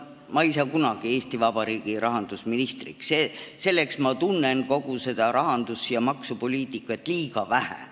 Ma ei saa kunagi Eesti Vabariigi rahandusministriks, selleks tunnen ma kogu seda rahandus- ja maksupoliitikat liiga vähe.